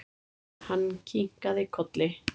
Hann kinkaði kolli.